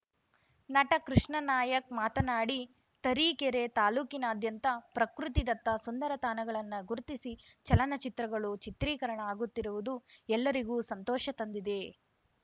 ನಟ ಕೃಷ್ಣಾನಾಯಕ್‌ ಮಾತನಾಡಿ ತರೀಕೆರೆ ತಾಲೂಕಿನಾದ್ಯಂತ ಪ್ರಕೃತಿದತ್ತ ಸುಂದರ ತಾಣಗಳನ್ನ ಗುರುತಿಸಿ ಚಲನಚಿತ್ರಗಳು ಚಿತ್ರೀಕರಣ ಆಗುತ್ತಿರುವುದು ಎಲ್ಲರಿಗೂ ಸಂತೋಷ ತಂದಿದೆ